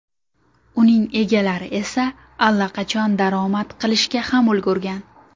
Uning egalari esa allaqachon daromad qilishga ham ulgurgan.